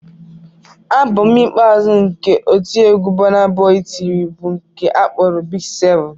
Abọm ikpeazụ nke otiegwu Burnaboy tiri bụ nke a kpọrọ "Big 7"